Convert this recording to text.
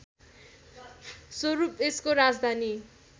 स्वरूप यसको राजधानी